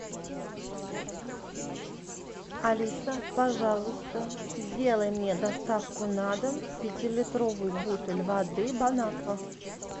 алиса пожалуйста сделай мне доставку на дом пятилитровый бутыль воды бонаква